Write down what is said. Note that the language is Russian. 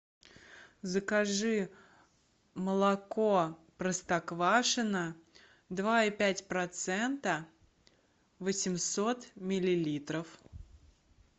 закажи молоко простоквашино два и пять процента восемьсот миллилитров